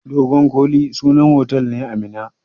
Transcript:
Dogon koli sunan otal ne a Minna.